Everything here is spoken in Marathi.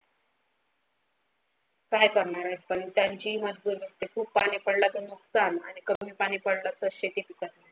काय करणार आहेत पाणी पडला तर नुकसान आणि कमी पडला तर शेती नुकसान.